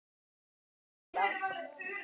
Nafnið segir allt.